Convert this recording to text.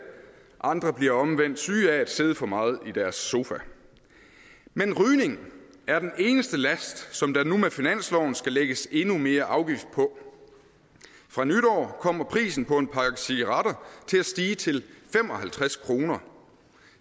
andre bliver omvendt syge af at sidde for meget i deres sofa men rygning er den eneste last som der nu med finansloven skal lægges endnu mere afgift på fra nytår kommer prisen på en pakke cigaretter til at stige til fem og halvtreds kroner